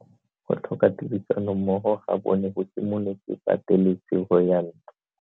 Go tlhoka tirsanommogo ga bone go simolotse patelesego ya ntwa.